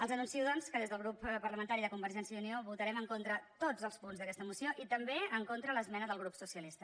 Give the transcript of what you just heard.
els anuncio doncs que des del grup parlamentari de convergència i unió votarem en contra tots els punts d’aquesta moció i també en contra l’esmena del grup socialista